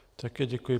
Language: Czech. Také děkuji.